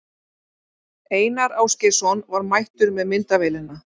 Einar Ásgeirsson var mættur með myndavélina.